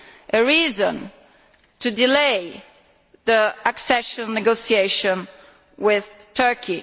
a reason to delay the accession negotiations with Turkey.